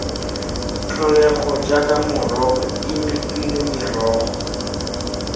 tlholego jaaka morogo imifino merogo